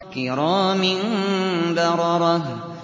كِرَامٍ بَرَرَةٍ